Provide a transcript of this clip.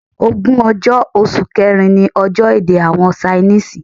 Ogún ọjọ́, oṣù kẹ́rin ní ọjọ́ èdè àwọn Ṣainísìì.